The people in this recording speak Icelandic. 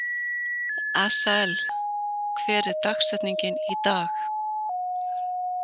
Asael, hver er dagsetningin í dag?